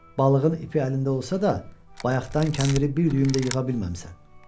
Balığın ipi əlində olsa da, bayaqdan kəndiri bir düyüm də yığa bilməmisən.